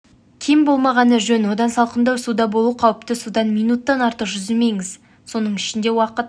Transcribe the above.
кем болмағаны жөн одан салқындау суда болу қауіпті суда минуттан артық жүзімеңіз соның ішінде уақыт